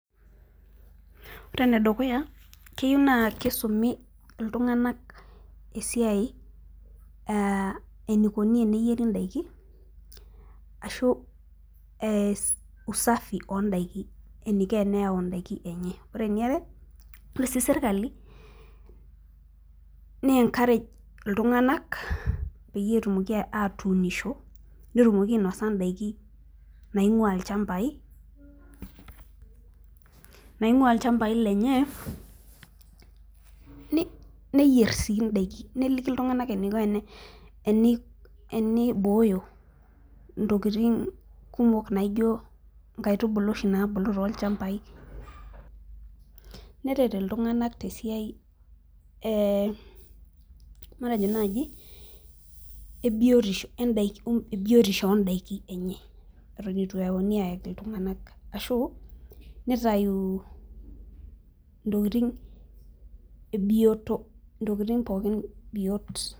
Ore ene dukuya naa keyieu naa kisumi, iltunganak esiai enikoni eneyieri daikini ashu, ee usafi oodaikin, eniko eneyau daikin enye. ore eniare, ore sii sirkali, ne encourage iltunganak peyie etumoki atuunisho netumoki ainosa idaikin naing'uaa ilchampai naing'ua ilchampai lenye neyier sii daikin. neliki iltunganak eniko enibooyo ntokitin kumok naijo nkaitubulu oshi naabu toolchampai, neret iltunganak tesiai, ee matejo naaji, ebiotisho oodaikin enye. eton eitu eyauni aayaki iltunganak. ashu nitayu intokitin ebioto. intokitin pookin biot.